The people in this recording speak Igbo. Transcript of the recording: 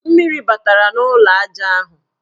Mmiri batara n' ụlọaja ahụ.